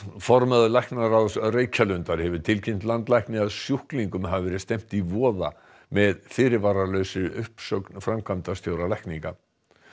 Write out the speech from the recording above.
formaður læknaráðs Reykjalundar hefur tilkynnt landlækni að sjúklingum hafi verið stefnt í voða með fyrirvaralausri uppsögn framkvæmdastjóra lækninga